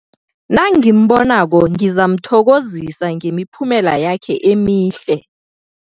Nangimbonako ngizamthokozisa ngemiphumela yakhe emihle.